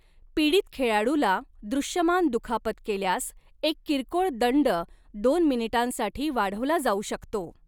पीडित खेळाडूला दृश्यमान दुखापत केल्यास एक किरकोळ दंड दोन मिनिटांसाठी वाढवला जाऊ शकतो.